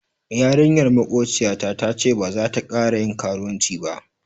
Yarinyar makociyata tace baza ta kara yin karuwanci ba.